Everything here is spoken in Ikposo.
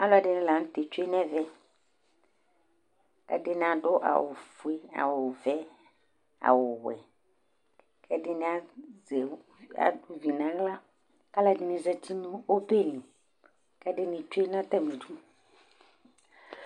Alʊɛdɩnɩ lanʊtɛ tsʊe nɛvɛ Ɛdɩnɩ adʊ awʊ fue, awʊ vɛ, awʊ wɛ Kɛdɩnɩ azɩvɩ nawla Alʊɛdɩnɩ zatɩ nobelɩ kɛdɩnɩ tsue natalidʊ